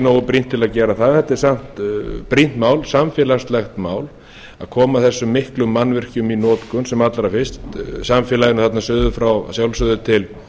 nógu brýnt til að gera það þetta er samt brýnt mál samfélagslegt mál að koma þessum miklu mannvirkjum í notkun sem allra fyrst samfélaginu þarna suður frá að sjálfsögðu til